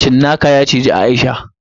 Cinnaka ya cizi Aisha.